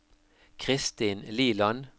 Christin Liland